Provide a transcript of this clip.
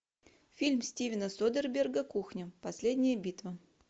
фильм стивена содерберга кухня последняя битва